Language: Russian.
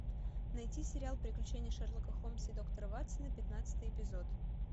найти сериал приключения шерлока холмса и доктора ватсона пятнадцатый эпизод